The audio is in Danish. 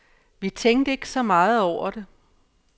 Vi tænkte ikke så meget over det.